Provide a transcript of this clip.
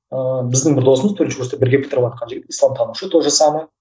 ыыы біздің бір досымыз төртінші курсты бірге бітіріватқан жігіт исламтанушы тоже самое